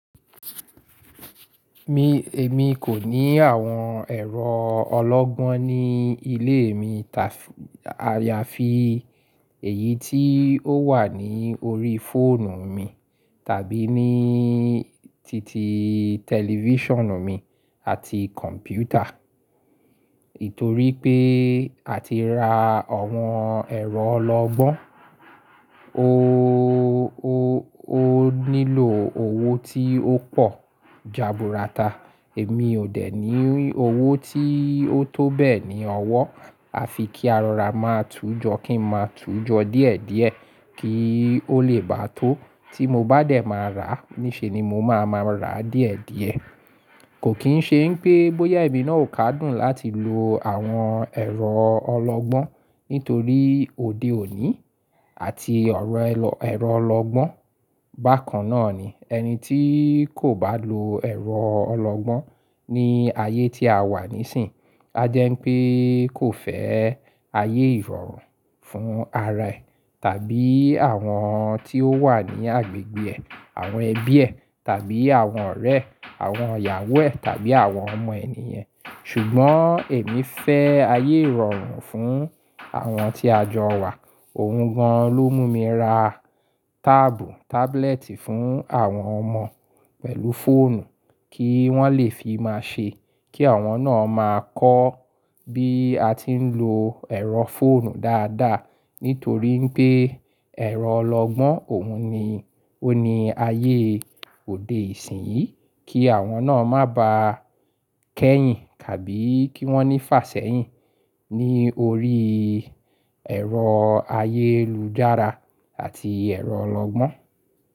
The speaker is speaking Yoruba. Mi, èmi kò ní àwọn ẹ̀rọ ọlọ́gbọ́n ní ilé mi ta fi, àyàfi èyí tí ó wà ní orí fóònù mi tàbí ní titi tẹlifíṣàn mi àti kọ̀m̀pútà. Nítorí pé à ti ra àwọn ẹ̀rọ ọlọ́gbọ́n, o, o, o nílò owó tí ó pọ̀ jàbùràta. Èmi ò dẹ̀ ní owó tí ó tó bẹ́ẹ̀ ní ọwọ́. A fi kí arara máa tújọ kí n máa tújọ díẹ̀díẹ̀ kí ó lè bá tó. Tí mo bá dẹ̀ máa rà, níṣe ni mo máa máa rà díẹ̀díẹ̀. Kò kín ṣe pé bóyá èmi náà ó ká dùn láti lo àwọn ẹ̀rọ ọlọ́gbọ́n nítorí òde òní àti ọ̀rọ̀ ẹlọ, ẹ̀rọ ọlọ́gbọ́n bákan náà ni ẹni tí kò bá lo ẹ̀rọ ọlọ́gbọ́n ní ayé tí a wà nísìínyi, a jẹ́ pé kò fẹ́ ayé ìrọ̀rùn fún ara ẹ̀ tàbí àwọn tí ó wà ní agbègbè ẹ̀, àwọn ẹbí ẹ̀ tàbí àwọn ọ̀rẹ́, àwọn ìyàwó ẹ̀ tàbí àwọn ọmọ ènìyàn. Ṣùgbọ́n èmi fẹ́ ayé ìrọ̀rùn fún àwọn tí a jọ wà. Ohun gan-an ló mú mi ra táàbù, tábúlẹ́ẹ̀tì fún àwọn ọmọ pẹ̀lú fóònù kí wọ́n lè fi máa ṣe. Kí àwọn náà máa kọ́ bí a ti ń lo ẹ̀rọ fóònù dáadáa. Nítorí pé ẹ̀rọ ọlọ́gbọ́n òun ni, ó ní ayé òde ìsìnyí. Kí àwọn náà má ba kẹ́yìn tàbí kí wọ́n ní fàsẹ́yìn ní orí ẹ̀rọ ayélujára àti ẹ̀rọ ọlọ́gbọ́n.